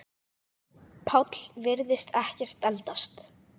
Páll virðist ekkert eldast.